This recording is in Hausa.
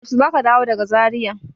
Yaushe za ka dawo daga Zaria?